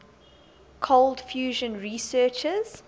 cold fusion researchers